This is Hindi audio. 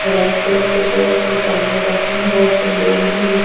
रेड कलर के बोहोत से डम्ब्बेल रखे बहोत से लोग भी है।